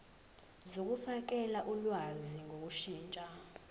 zokufakela ulwazi ngokushintsha